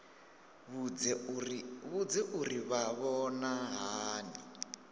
vhudze uri vha vhona hani